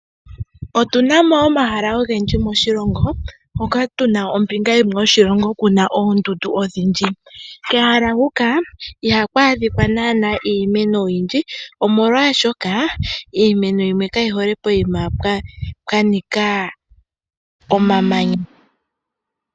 Otuna mo omahaka ogendji moshilongo, moka tu na mo ombinga yimwe yo shilongo tuna mookndundu odhindji. Kehala huka iha ku adhika naana iimeno oyindji, omolwashoka, iimeno yimwe ka yi hole poyima owa nika omamanya.